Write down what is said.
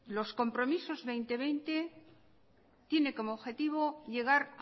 los compromisos dos mil veinte tiene como objetivo llegar